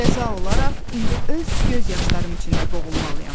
Cəza olaraq indi öz göz yaşlarım içində boğulmalıyam.